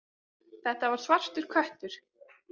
Þetta var svartur köttur.